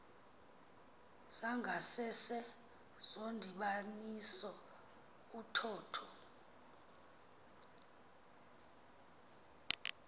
zangasese zomdibaniso uthotho